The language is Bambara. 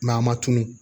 a ma tunu